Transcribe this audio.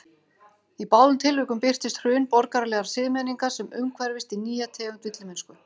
Í báðum tilvikum birtist hrun borgaralegrar siðmenningar sem umhverfist í nýja tegund villimennsku.